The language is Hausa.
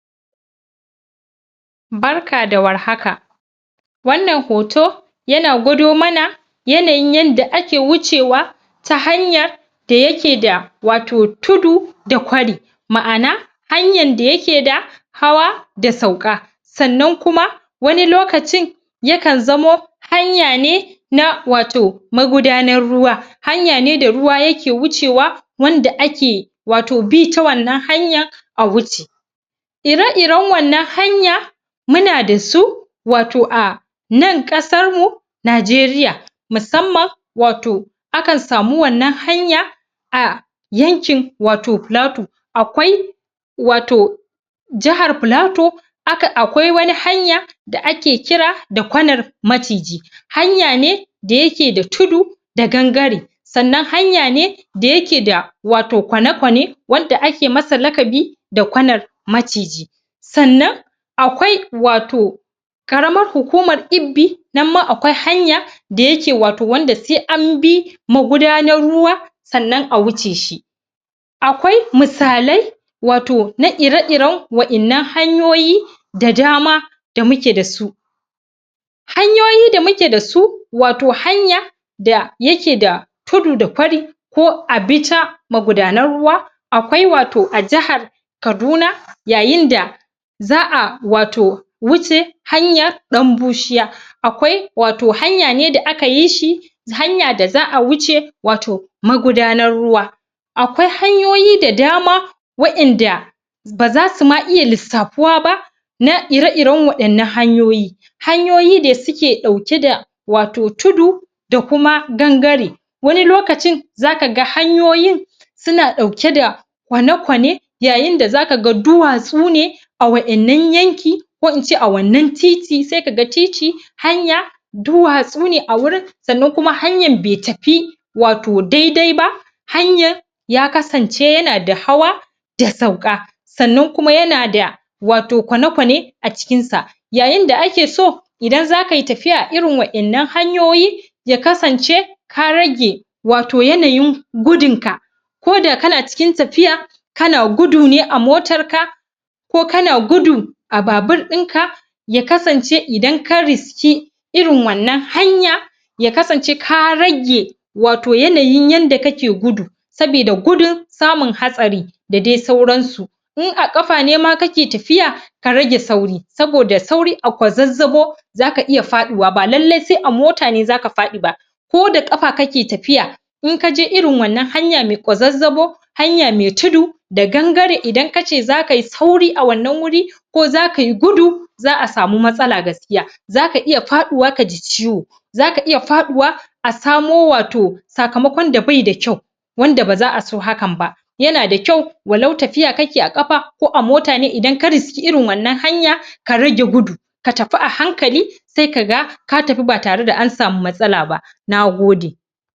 barka da warhaka wannan hoto yana gwado mana yanayin yanda ake wucewa ta hanyar da yake da wato tudu da ƙwari ma'ana hanyan da yake da hawa da sauƙa sannan kuma wani lokacin ya kan zamo hanya ne na wato magudanar ruwa hanya ne da ruwa yake wucewa wanda ake wato bi ta wannan hanyan a wuce ire iren wannan hanya muna dasu wato a nan ƙasar mu Najeriya musamman wato akan samu wannan hanya a yankin wato pulatu akwai wato jahar pilato aka akwai wani hanya da ake kira da kwanar maciji hanya ne da yake da tudu da gangare sannan hanya ne da yake da wato kwane kwane wadda ake masa lakabi da kwanar maciji sannan akwai wato ƙaramar hukumar ibbi nan ma akwai hanya da yake wato wanda se an bi magudanar ruwa sannan a wuce shi akwai misalai wato na ire iren wa'innan hanyoyi da dama da muke dasu hanyoyi da muke dasu wato hanya da yake da tudu da kwari ko a bi ta magudanar ruwa akwai wato a jahar kaduna yayin da za'a wato wuce hanyar ɗan bushiya akwai wato hanya ne da aka yi shi hanya da za'a wuce wato magudanar ruwa akwai hanyoyi da dama wa'inda bazasu ma iya lissapuwa ba na ire iren wa'innan hanyoyi hanyoyi de suke ɗauke da wato tudu da kuma gangare wani lokacin zaka ga hanyoyin suna ɗauke da kwane kwane yayin da zaka ga duwatsu ne a wa'innan yanki ko ince a wannan titi sai kaga titi hanya duwatsu ne a wurin sannan kuma hanyan be tapi wato daidai ba hanyan ya kasance yana da hawa da sauka sannan kuma yana da wato kwane kwane a cikinsa yayin da ake so idan zakayi tafiya a irin wa'innan hanyoyi ya kasance ka rage wato yanayin gudun ka koda kana cikin tapiya kana gudu ne a motar ka ko kana gudu a babur ɗin ka ya kasance idan ka riski irin wannan hanya ya kasance ka rage wato yanayin yanda kake gudu sabida gudun samun hatsari da de sauransu in a ƙafa nema kake tafiya ka rage sauri saboda sauri a kwazazzabo zaka iya faɗuwa ba lallai sai a mota ne zaka faɗi ba ko da ƙafa kake tafiya in kaje irin wannan hanya me kwazazzabo hanya me tudu da gangare idan kace zakayi sauri a wannan wuri ko zakayi gudu za'a samu matsala gaskiya zaka iya paɗuwa kaji ciwo zaka iya faɗuwa a samo wato sakamakon da bai da kyau wanda baza'a so hakan ba yana da kyau walau tafiya kake a ƙafa ko a mota ne idan ka riski irin wannan hanya ka rage gudu ka tapi a hankali sai kaga ka tapi ba tare da an samu matsala ba nagode